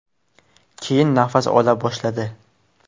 Keyin nafas ola boshladi.